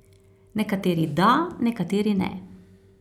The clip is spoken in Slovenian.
Nekateri da, nekateri ne.